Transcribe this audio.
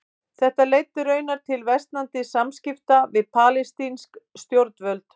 Þetta leiddi raunar til versnandi samskipta við palestínsk stjórnvöld.